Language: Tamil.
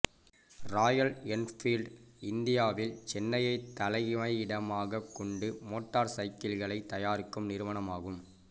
ராயல் என்ஃபீல்ட் இந்தியாவில் சென்னையை தலைமையிடமாக கொண்டு மோட்டார் சைக்கிள்களை தயாரிக்கும் நிறுவனமாகும்